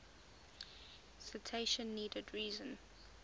citation needed reason